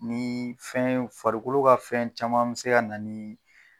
Ni fɛn ye farikolo ka fɛn caman bi se ka na ni